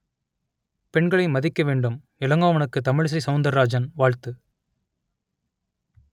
பெண்களை மதிக்க வேண்டும் இளங்கோவனுக்கு தமிழிசை சவுந்தரராஜன் வாழ்த்து